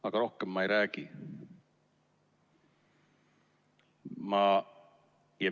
Aga rohkem ma ei räägi.